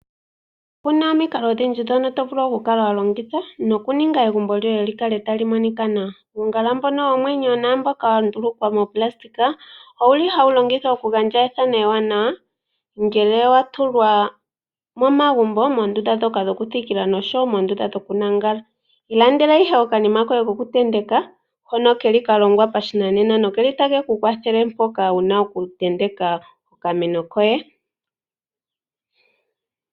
Opu na omikalo odhindji ndhono to vulu okulongitha nokuninga egumbo lyoye li kale tali monika nawa. Uungala mbono womwenyo naamboka wa ndulukwa moonayilona owu li hawu longithwa okugandja ethano ewanawa, ngele wa tulwa momagumbo, moondunda ndhoka dhokuthikila noshowo moondunda ndhoka dhokulala. Ilandela ihe okanima koye kokutenteka hono ke li ka longwa pashinanena nokeli take ku kwathele mpoka wu na okutenteka okameno koye.